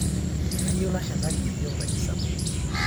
Kayieu nashataki yeiyo nkaji sapuk